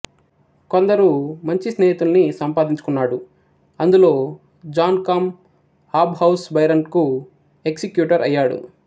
కొందరు మంచి స్నేహితుల్ని సంపాదించుకొన్నాడు అందులో జాన్ కాం హాబ్ హౌస్ బైరన్ కు ఎక్సి క్యూటర్అయ్యాడు